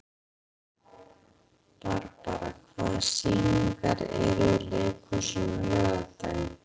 Barbara, hvaða sýningar eru í leikhúsinu á laugardaginn?